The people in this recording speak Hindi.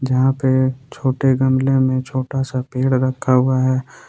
यहां पे छोटे गमले में छोटा सा पेड़ रखा हुआ है।